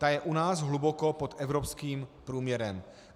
Ta je u nás hluboko pod evropským průměrem.